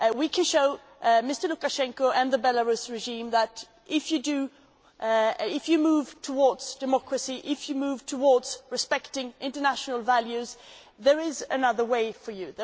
We can show Mr Lukashenko and the Belarus regime that, if you move towards democracy, if you move towards respecting international values, there is another way for you.